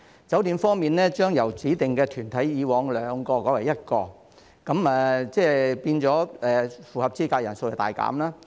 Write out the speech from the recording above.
酒店方面，指定團體將會由以往的兩個改為一個，即是符合資格的人數亦大減。